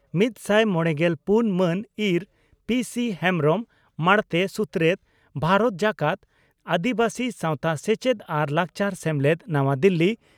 ᱢᱤᱛᱥᱟᱭ ᱢᱚᱲᱮᱜᱮᱞ ᱯᱩᱱ ᱢᱟᱱ (ᱤᱸᱨ) ᱯᱤᱹᱥᱤᱹ ᱦᱮᱢᱵᱽᱨᱚᱢ, ᱢᱟᱬᱛᱮ ᱥᱩᱛᱨᱮᱛ, ᱵᱷᱟᱨᱚᱛ ᱡᱟᱠᱟᱛ ᱟᱹᱫᱤᱵᱟᱹᱥᱤ ᱥᱟᱶᱛᱟ ᱥᱮᱪᱮᱫ ᱟᱨ ᱞᱟᱠᱪᱟᱨ ᱥᱮᱢᱞᱮᱫ, ᱱᱟᱣᱟ ᱫᱤᱞᱤ ᱾